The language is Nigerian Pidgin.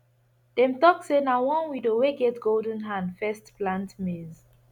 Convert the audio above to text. dem talk say na one widow wey get golden hand first plant maize